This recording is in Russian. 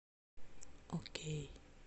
окей